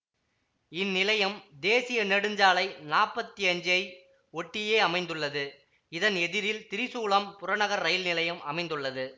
இந்நிலையம் தேசிய நெடுஞ்சாலை நாப்பத்தி அஞ்சை ஒட்டியே அமைந்துள்ளது இதன் எதிரில் திரிசூலம் புறநகர் ரயில் நிலையம் அமைந்துள்ளது